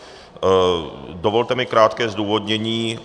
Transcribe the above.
Dovolte mi krátké zdůvodnění.